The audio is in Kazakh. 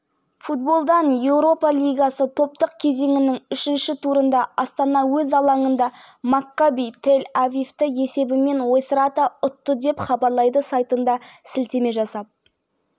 жоқ астана ойыншылары соққы бағыттағанмен қақпашының тура қолынан табылып жатты минутта маккаби ойыншылары ереже бұзып